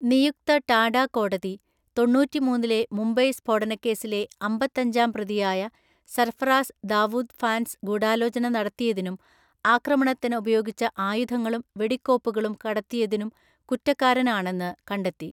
നിയുക്ത ടാഡ കോടതി തൊണ്ണൂറ്റിമൂന്നിലെ മുംബൈ സ്‌ഫോടനക്കേസിലെ അമ്പത്തഞ്ചാം പ്രതിയായ സർഫറാസ് ദാവൂദ് ഫാൻസ് ഗൂഢാലോചന നടത്തിയതിനും ആക്രമണത്തിന് ഉപയോഗിച്ച ആയുധങ്ങളും വെടിക്കോപ്പുകളും കടത്തിയതിനും കുറ്റക്കാരൻ ആണെന്ന് കണ്ടെത്തി.